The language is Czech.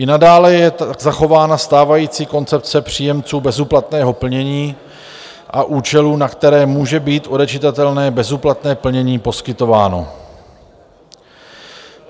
I nadále je zachována stávající koncepce příjemců bezúplatného plnění a účelů, na které může být odečitatelné bezúplatné plnění poskytováno.